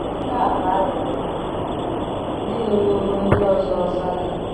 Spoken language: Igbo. nke a bụ arọ ndị nyewooro ndị ọzọ ọzọ aka.